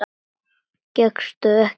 Gekkstu ekki frá þeim málum?